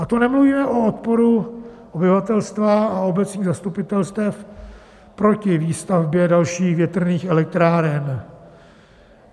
A to nemluvíme o odporu obyvatelstva a obecních zastupitelstev proti výstavbě dalších větrných elektráren.